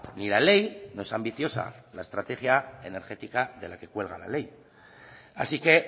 ni la ley no es ambiciosa la estrategia energética de la que cuelga la ley así que